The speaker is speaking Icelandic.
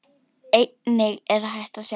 Einnig er hægt að sjá.